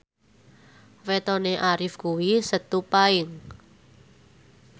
wetone Arif kuwi Setu Paing